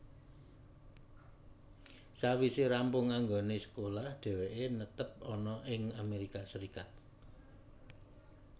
Sawise rampung anggone sekolah dheweke netep ana ing Amerika Serikat